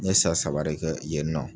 N ye san saba de kɛ yen nɔ.